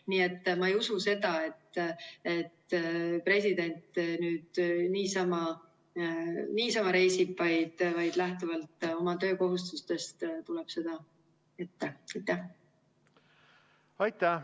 Nii et ma ei usu seda, et president nüüd niisama reisib, vaid lähtuvalt oma töökohustustest tuleb seda ette.